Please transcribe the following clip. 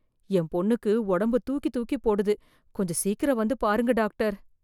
என் பொண்ணுக்கு உடம்பு தூக்கி தூக்கி போடுது கொஞ்சம் சீக்கிரம் வந்து பாருங்க டாக்டர்